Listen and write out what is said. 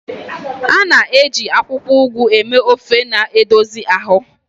A na-eji akwụkwọ Ugu eme ofe na-edozi ahụ.